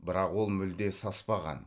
бірақ ол мүлде саспаған